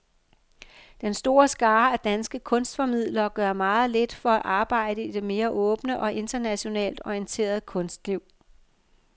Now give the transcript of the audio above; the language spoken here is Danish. Den store skare af danske kunstformidlere gør meget lidt for at arbejde i det mere åbne og internationalt orienterede kunstliv.